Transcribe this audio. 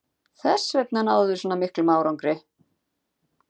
Þessvegna náðum við svona miklum árangri.